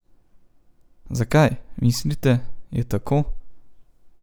Zakaj, mislite, je tako?